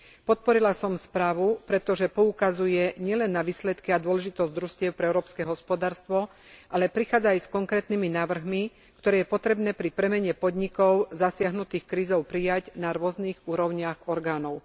Podporila som správu, pretože poukazuje nielen na výsledky a dôležitosť družstiev pre európske hospodárstvo, ale prichádza aj s konkrétnymi návrhmi, ktoré je potrebné pri premene podnikov zasiahnutých krízou prijať na rôznych úrovniach orgánov.